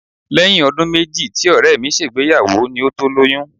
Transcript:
Lẹ́yìn ọdún méjì tí Ọ̀rẹ́ mi ṣègbéyàwó ni ó tó lóyún